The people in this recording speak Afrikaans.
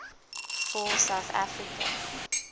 for south africa